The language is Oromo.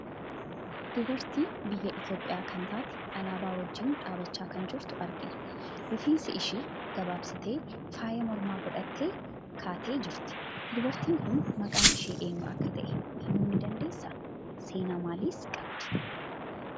Dubartii biyya Itoophiyaa kan taate, alaabaa wajjin dhaabbachaa kan jirtu argina. Rifeensa ishii gabaabsitee, faaya mormaa godhattee kaatee jirti. Dubartiin kun maqaan ishii eenyu akka taate himuu ni dandeessaa? Seenaa maaliis qabdi?